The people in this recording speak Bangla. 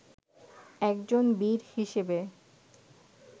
একজন বীর হিসেবে